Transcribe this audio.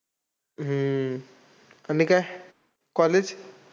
हम्म आणि काय? college?